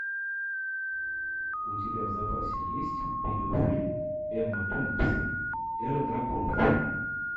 у тебя в запасе есть видео фильм эмма томпсон эра драконов